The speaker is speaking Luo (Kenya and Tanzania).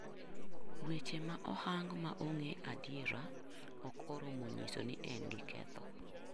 Weche ma ohang ma on'ge adiera ok oromo nyiso ni en gi ketho.